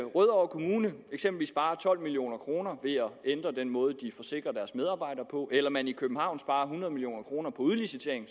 rødovre kommune sparer tolv million kroner ved at ændre den måde de forsikrer deres medarbejdere på eller man i københavn sparer hundrede million kroner på udlicitering